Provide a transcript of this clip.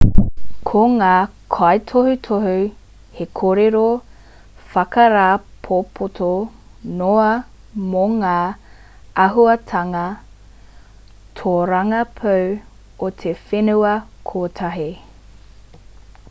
ko ngā kaitohutohu he kōrero whakarāpopoto noa mō ngā āhuatanga tōrangapū o te whenua kotahi